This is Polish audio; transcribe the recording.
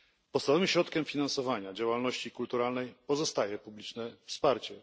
Podstawowym środkiem finansowania działalności kulturalnej pozostaje publiczne wsparcie.